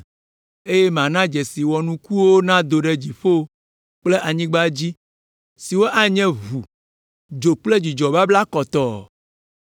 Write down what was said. eye mana dzesi wɔnukuwo nado ɖe dziƒo kple anyigba dzi, siwo anye ʋu, dzo kple dzudzɔ babla kɔtɔɔ.